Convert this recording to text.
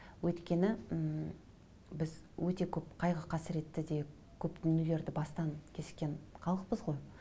өйткені ммм біз өте көп қайғы қасіретті де көп дүниелерді бастан кешкен халықпыз ғой